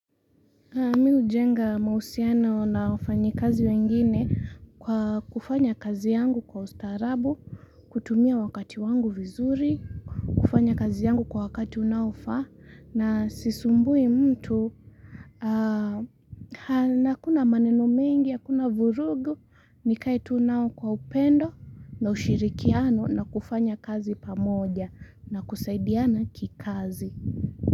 Mi hujenga mahusiano na wafanyi kazi wengine kwa kufanya kazi yangu kwa ustarabu, kutumia wakati wangu vizuri, kufanya kazi yangu kwa wakati unaofaa na sisumbui mtu. Na akuna maneno mengi, na akuna vurugu, nikae tu nao kwa upendo na ushirikiano na kufanya kazi pamoja na kusaidiana kikazi.